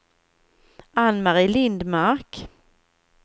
Ann-Marie Lindmark